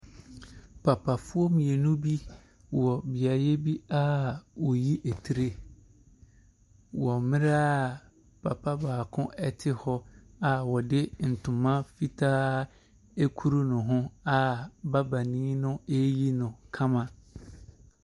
Papafoɔ mmienu bi wɔ beaeɛ bi a wɔyi tire, wɔ mmerɛ a papa baako te hɔ, a wɔde ntoma fitaa akuru ne ho, a babani no reyi no kama.